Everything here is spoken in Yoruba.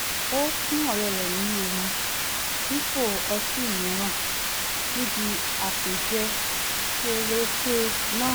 ó fún ọ̀rẹ́ rẹ̀ ní omi dípò ọtí mìíràn níbi àpèjẹ kéreké náà